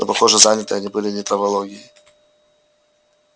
но похоже заняты они были не травологией